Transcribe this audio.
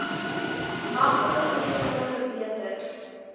matige oefeninge verbeter